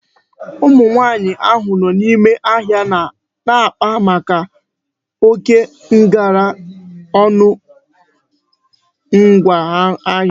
Ụmụ nwaanyị ahụ nọ n'ime ahịa na-akpa maka oké ngara ọnụ ngwa ahịa